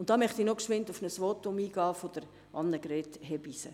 Hier möchte ich noch auf das Votum Annegret Hebeisen eingehen.